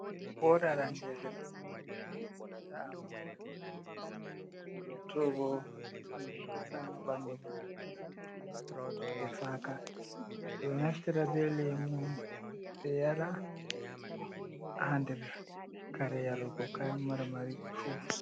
Wore aranɗereɗo ɗe ta’ama hore mare. Nɗiyatobo ɗe hefama banɗu mare. Luttuɗe bo hefaka. Beɗo naftira be lemu be yara ha nɗer kare yarugo kayan marmari furuts.